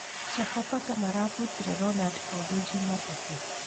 Sofapaka marabutire Ronald Kogi jumatatũ.